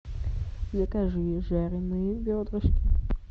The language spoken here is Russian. закажи жареные бедрышки